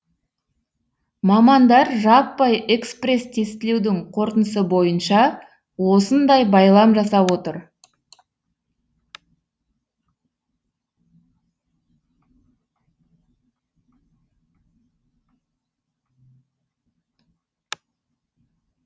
мамандар жаппай экспресс тестілеудің қорытындысы бойынша осындай байлам жасап отыр